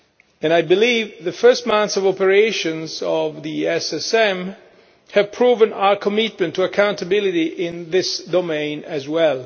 and I believe the first months of operation of the SSM have proved our commitment to accountability in this domain as well.